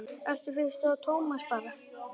Eddu fannst Tómas betra.